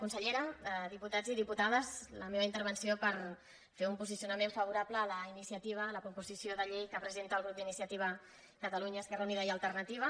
consellera diputats i diputades la meva intervenció per fer un posicionament favorable a la iniciativa a la proposició de llei que presenta el grup d’iniciativa per catalunya esquerra unida i alternativa